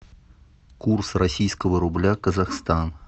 курс российского рубля казахстан